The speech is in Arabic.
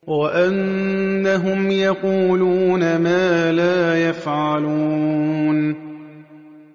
وَأَنَّهُمْ يَقُولُونَ مَا لَا يَفْعَلُونَ